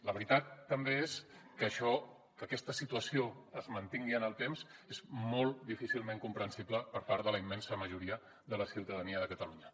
la veritat també és que això que aquesta situació es mantingui en el temps és molt difícilment comprensible per part de la immensa majoria de la ciutadania de catalunya